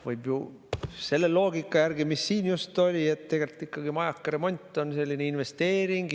Võib ju selle loogika järgi, mis siin just oli, et tegelikult on majaka remont investeering.